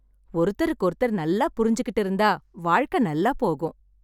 ஒருத்தருக்கு ஒருத்தர் நல்லா புரிஞ்சுகிட்டு இருந்தா வாழ்க்கை நல்லா போகும்